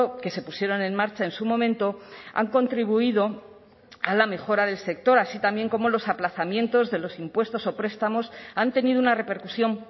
que se pusieron en marcha en su momento han contribuido a la mejora del sector así también como los aplazamientos de los impuestos o prestamos han tenido una repercusión